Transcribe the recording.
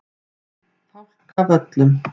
Fálkavöllum